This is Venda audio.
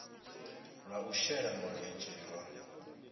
lwa u shela mulenzhe lwa